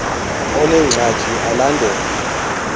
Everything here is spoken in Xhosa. onengxaki al andele